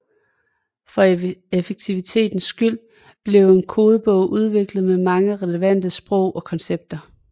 For effektivitetens skyld blev en kodebog udviklet med mange relevante ord og koncepter